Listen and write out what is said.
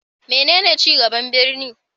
Menene ci gaban birni?